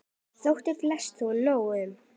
Þótti flestum þó nóg um.